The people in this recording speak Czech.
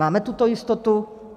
Máme tuto jistotu?